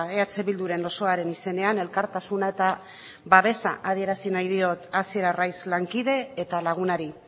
eh bilduren osoaren izenean elkartasuna eta babesa adierazi nahi diot hasier arraiz lankide eta lagunari